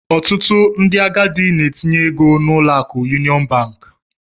Ọtụtụ ndị agadi n'etinye ego n'ụlọ akụ yuniọn bank.